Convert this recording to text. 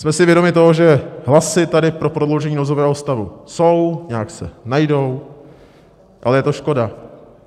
Jsme si vědomi toho, že hlasy tady pro prodloužení nouzového stavu jsou, nějak se najdou, ale je to škoda.